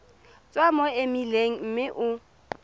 tswa mo emeileng mme o